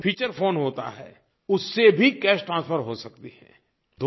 साधारण जो feature phone होता है उससे भी कैश ट्रांसफर हो सकती है